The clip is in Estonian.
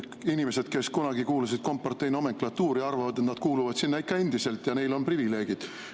Inimesed, kes kunagi kuulusid kompartei nomenklatuuri, arvavad, et nad kuuluvad sinna ikka endiselt ja neil on privileegid.